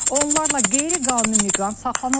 Onlarla qeyri-qanuni miqrant saxlanıldı.